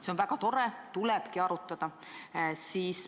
See on väga tore, tulebki arutada.